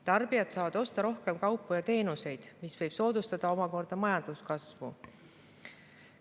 Tarbijad saavad osta rohkem kaupu ja teenuseid, mis võib soodustada omakorda majanduskasvu.